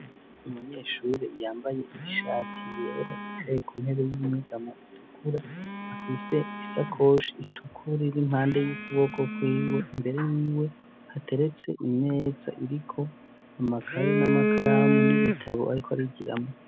Umunyeshuri yambaye ishati yera yicaye ku ntebe y'inyegamo itukura afise isakoshi itukura iri impande y'ukuboko kwiwe imbere yiwe hateretse imeza iriko amakaye n'amakaramu n'ibitabo ariko arigiramwo.